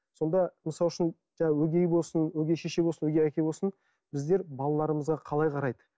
сонда мысал үшін жаңағы өгей болсын өгей шеше болсын өгей әке болсын біздер балаларымызға қалай қарайды